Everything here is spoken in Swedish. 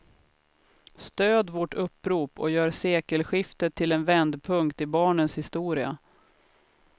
Stöd vårt upprop och gör sekelskiftet till en vändpunkt i barnens historia.